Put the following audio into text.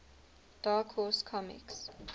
dark horse comics